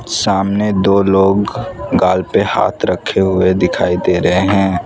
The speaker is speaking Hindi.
सामने दो लोग गाल पे हाथ रखे हुए दिखाई दे रहे हैं।